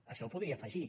això ho podria afegir